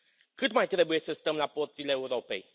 Cât mai trebuie să stăm la porțile Europei?